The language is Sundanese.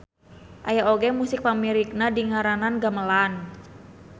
Aya oge musik pamirigna dingaranan gamelan.